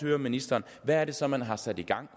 ministeren hvad er det så man har sat i gang